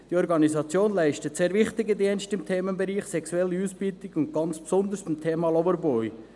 Diese Organisation leistet sehr wichtige Dienste im Themenbereich sexuelle Ausbeutung und ganz besonders zum Thema Loverboys.